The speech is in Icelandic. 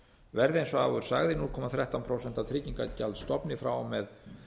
verði eins og áður sagði núll komma þrettán prósent af tryggingagjaldsstofni frá og með